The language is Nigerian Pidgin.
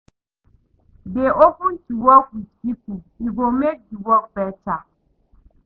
Dey open to work with pipo e go make di work better